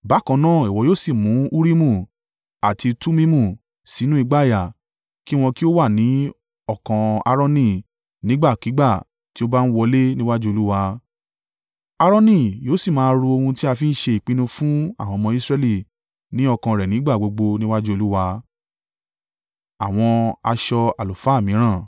Bákan náà ìwọ yóò sì mu Urimu àti Tumimu sínú ìgbàyà, kí wọn kí ó wà ní ọkàn Aaroni nígbàkígbà tí ó bá ń wólẹ̀ níwájú Olúwa. Aaroni yóò sì máa ru ohun ti a ń fi ṣe ìpinnu fún àwọn ọmọ Israẹli ní ọkàn rẹ̀ nígbà gbogbo níwájú Olúwa.